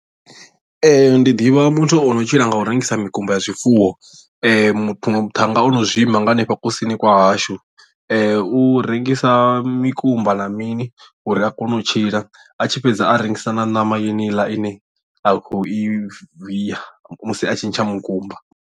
Ee ndi ḓivha muthu ono tshila nga u rengisa mikumba ya zwifuwo muṅwe muthannga ono zwi lima nga hanefha kusini kwa hashu u rengisa mikumba na mini uri a kone u tshila a tshi fhedza a rengisa na ṋama yeneiḽa ine a khou i viya musi a tshi ntsha mukumba.